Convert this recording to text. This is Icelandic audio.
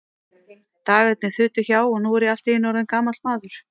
Dagarnir þutu hjá, og nú er ég allt í einu orðinn gamall maður.